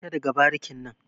Fita daga barikin nan.